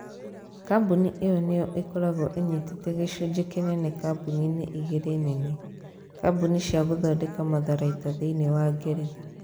Kambuni ĩyo nĩyo ĩkoragwo ĩnyitete gĩcunjĩ kĩnene kambuni-inĩ igĩrĩ nene. Kambuni cia gũthondeka matharaita thĩinĩ wa Ngeretha.